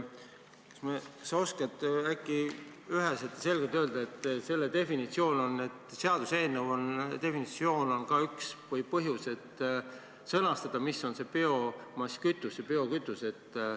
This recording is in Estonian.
Kas sa oskad üheselt ja selgelt öelda – selle seaduseelnõu üks eesmärk on ka definitsioonid sõnastada –, mis on biomasskütus ja biokütus?